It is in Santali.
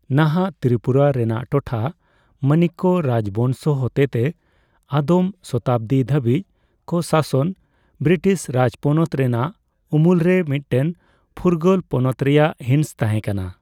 ᱱᱟᱦᱟᱜ ᱛᱨᱤᱯᱩᱨᱟ ᱨᱮᱱᱟᱜ ᱴᱚᱴᱷᱟ, ᱢᱟᱱᱤᱠᱠᱚ ᱨᱟᱡᱽ ᱵᱚᱝᱥᱚ ᱦᱚᱛᱮᱛᱮ ᱟᱫᱚᱢ ᱥᱚᱛᱟᱵᱫᱤ ᱫᱷᱵᱟᱹᱵᱤᱡ ᱠᱚ ᱥᱟᱥᱚᱱ ᱵᱨᱤᱴᱤᱥ ᱨᱟᱡᱽᱯᱚᱱᱚᱛ ᱨᱮᱱᱟᱜ ᱩᱢᱩᱞᱨᱮ ᱢᱤᱫᱴᱮᱱ ᱯᱷᱩᱨᱜᱟᱹᱞ ᱯᱚᱱᱚᱛ ᱨᱮᱭᱟᱜ ᱦᱤᱸᱥ ᱛᱟᱦᱮᱸᱠᱟᱱᱟ ᱾